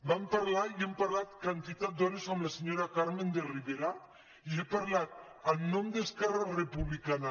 vam parlar i hem parlat quantitat d’hores amb la senyora carmen de rivera i he parlat en nom d’esquerra republicana